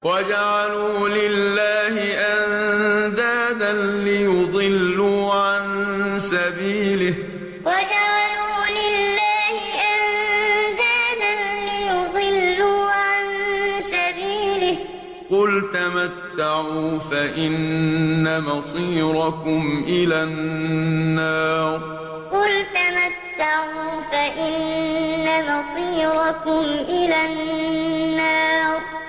وَجَعَلُوا لِلَّهِ أَندَادًا لِّيُضِلُّوا عَن سَبِيلِهِ ۗ قُلْ تَمَتَّعُوا فَإِنَّ مَصِيرَكُمْ إِلَى النَّارِ وَجَعَلُوا لِلَّهِ أَندَادًا لِّيُضِلُّوا عَن سَبِيلِهِ ۗ قُلْ تَمَتَّعُوا فَإِنَّ مَصِيرَكُمْ إِلَى النَّارِ